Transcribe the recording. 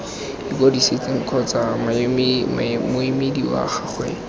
ikwadisitseng kgotsa moemedi wa gagwe